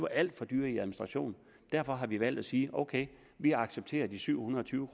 alt for dyre i administration derfor har vi valgt at sige ok vi accepterer de syv hundrede og tyve